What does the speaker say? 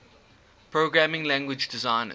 programming language designers